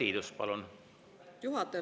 Aitäh, lugupeetud juhataja!